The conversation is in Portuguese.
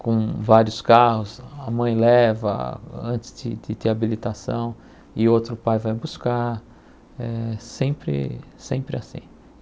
com vários carros, a mãe leva antes de de ter habilitação e outro pai vai buscar, eh sempre sempre assim.